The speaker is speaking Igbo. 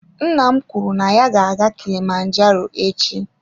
Nna m kwuru na ya ga-aga kilimanjaro echi.